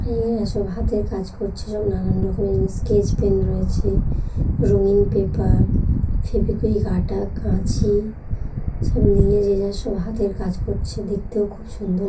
সব হাতের কাজ করছে সব নানান রকম স্কেচ পেন রয়েছে রঙিন পেপার ফেভিকুইক আঠা কাঁচি সব নিয়ে যে যার সব হাতের কাজ করছে দেখতেও খুব সুন্দর--